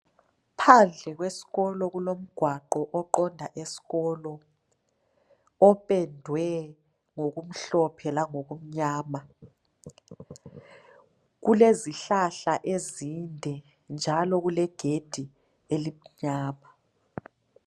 Phandle kwesikolo kulomgwaqo oqonda esikolo opendwe ngokumhlophe langokumnyama. Kulezihlahla ezinde njalo kulegedi elimnyama.